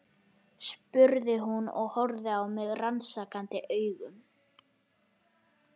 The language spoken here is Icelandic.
spurði hún og horfði á mig rannsakandi augum.